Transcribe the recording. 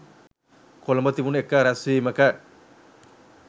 කොළඹ තිබුණ එක රැස්වීමක